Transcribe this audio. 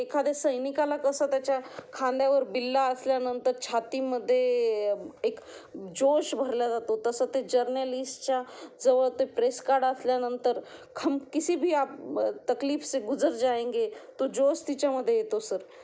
एखाद्या सैनिकाला कसं त्याच्या खांद्यावर बिल्ला असल्यानंतर छाती मध्ये एक जोश भरला जातो तसं ते जर्नलिस्टच्या जवळ ते प्रेस कार्ड असल्यानंतर किसी भी आप तकलीफ से गुजर जाएंगे तो जोश तिच्या मध्ये येतो सर.